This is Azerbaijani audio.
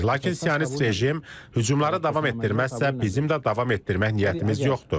Lakin sionist rejim hücumları davam etdirməzsə, bizim də davam etdirmək niyyətimiz yoxdur.